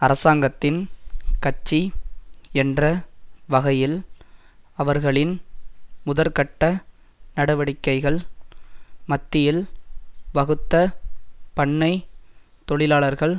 அரசாங்கத்தின் கட்சி என்ற வகையில் அவர்களின் முதற்கட்ட நடவடிக்கைகள் மத்தியில் வகுத்த பண்ணை தொழிலாளர்கள்